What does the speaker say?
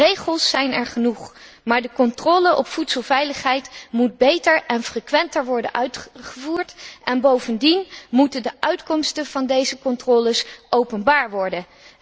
Regels zijn er genoeg, maar de controle op voedselveiligheid moet beter en frequenter worden uitgevoerd en bovendien moeten de uitkomsten van deze controles openbaar worden.